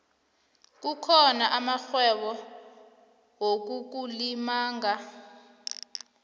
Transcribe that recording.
kukhona amarhwebo yokukulimaga